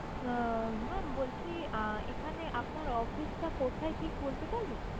আহ maam বলছি আহ এখানে আপনার office টা কোথায় ঠিক বলতে পারবেন?